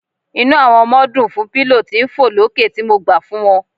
Inú àwọn ọmọ dùn fún pillow tí ń fọ̀ lókè tí mo gbà fún wọn.